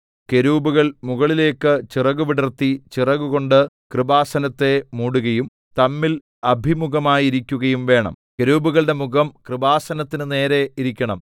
കെരൂബുകൾ മുകളിലേക്കു ചിറകുവിടർത്തി ചിറകുകൊണ്ട് കൃപാസനത്തെ മൂടുകയും തമ്മിൽ അഭിമുഖമായിരിക്കുകയും വേണം കെരൂബുകളുടെ മുഖം കൃപാസനത്തിന് നേരെ ഇരിക്കണം